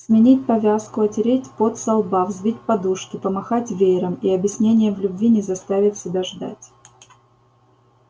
сменить повязку отереть пот со лба взбить подушки помахать веером и объяснение в любви не заставит себя ждать